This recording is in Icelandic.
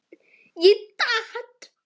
Ég datt.